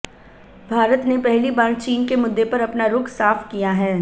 भारत ने पहली बार चीन के मुद्दे पर अपना रुख साफ किया है